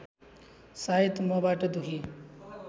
सायद मबाट दुखी